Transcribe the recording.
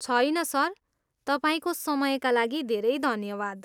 छैन, सर। तपाईँको समयका लागि धेरै धन्यवाद!